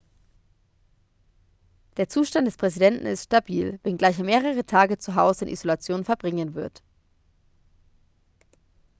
der zustand des präsidenten ist stabil wenngleich er mehrere tage zu hause in isolation verbringen wird